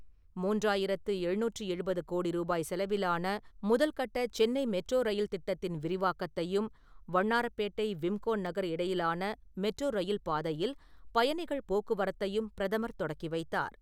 மூன்றாயிரத்து எழுநூற்றி எழுபது கோடி ரூபாய் செலவிலான முதல் கட்ட சென்னை மெட்ரோ ரயில் திட்டத்தின் விரிவாக்கத்தையும், வண்ணாரப்பேட்டை விம்கோ நகர் இடையிலான மெட்ரோ ரயில் பாதையில் பயணிகள் போக்குவரத்தையும் பிரதமர் தொடக்கி வைத்தார்.